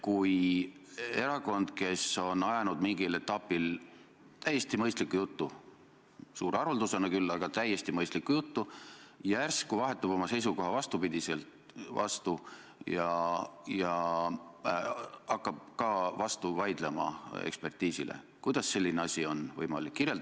Kui erakond, kes on ajanud mingil etapil täiesti mõistlikku juttu – suure haruldusena küll, aga täiesti mõistlikku juttu –, järsku vahetab oma seisukoha vastupidiseks ja hakkab ka ekspertidele vastu vaidlema, siis kuidas selline asi on võimalik?